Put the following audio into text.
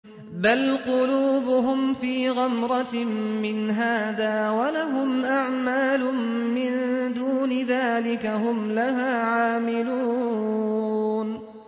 بَلْ قُلُوبُهُمْ فِي غَمْرَةٍ مِّنْ هَٰذَا وَلَهُمْ أَعْمَالٌ مِّن دُونِ ذَٰلِكَ هُمْ لَهَا عَامِلُونَ